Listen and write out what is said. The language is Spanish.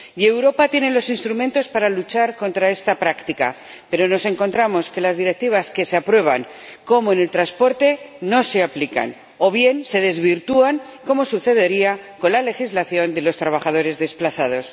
Europa tiene los instrumentos para luchar contra esta práctica, pero nos encontramos con que las directivas que se aprueban, como en el transporte, no se aplican, o bien se desvirtúan, como sucede con la legislación de los trabajadores desplazados.